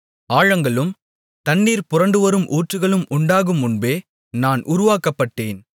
ஆழங்களும் தண்ணீர் புரண்டுவரும் ஊற்றுகளும் உண்டாகுமுன்பே நான் உருவாக்கப்பட்டேன்